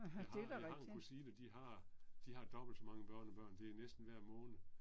Jeg har jeg har en kusine de har de har dobbelt så mange børnebørn det er næsten hver måned